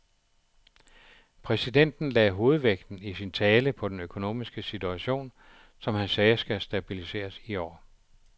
Præsidenten lagde hovedvægten i sin tale på den økonomiske situation, som han sagde skal stabiliseres i år.